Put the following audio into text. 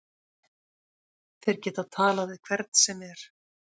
Þeir geta talað við hvern sem er.